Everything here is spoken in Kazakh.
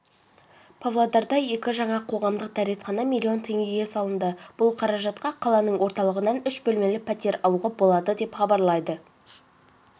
павлодарда екі жаңа қоғамдық дәретхана миллион теңгеге салынды бұл қаражатқа қаланың орталығынан үш бөлмелі пәтер алуға болады деп хабарлайды